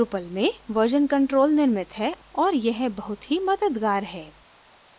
drupal में version control निर्मित है और यह बहुत ही मददगार है